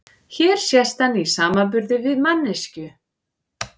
Hér sést hann í samanburði við manneskju.